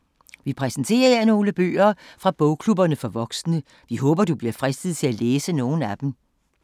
Vi præsenterer her nogle bøger fra bogklubberne for voksne. Vi håber, at du bliver fristet til at læse nogle af dem.